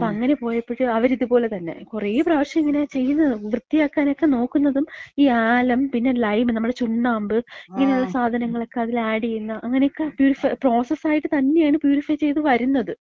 അപ്പം അങ്ങനെ പോയപ്പഴ് അവര് ഇതുപോലെ തന്നെ, കൊറെ പ്രാവശ്യംങ്ങനെ ചെയ്യ്ന്നത്, വൃത്തിയാക്കാനൊക്കെ നോക്കുന്നതും ഈ ആലം, പിന്നെ ലൈം നമ്മളെ ചുണ്ണാമ്പ്, ഇങ്ങനള്ള സാധനങ്ങളെക്ക അതില് ആഡ് ചെയ്യുന്ന അങ്ങനെയൊക്കെ പ്യൂരിഫൈ, പ്രോസസായിട്ട് തന്നാണ് പ്യൂരിഫൈ ചെയ്ത് വര്ന്നത്.